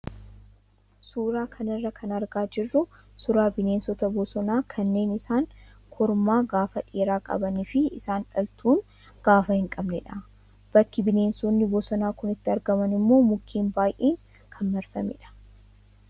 Suuraa kanarraa kan argaa jirru suuraa bineensota bosonaa kanneen isaan kormaa gaafa dheeraa qabanii fi isaan dhaltuun gaafa hin qabnedha. Bakki bineensonni bosonaa kun itti argaman immoo mukkeen baay'een kan marfamedha.